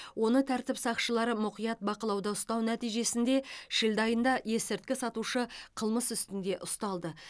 оны тәртіп сақшылары мұқият бақылауда ұстау нәтижесінде шілде айында есірткі сатушы қылмыс үстінде ұсталды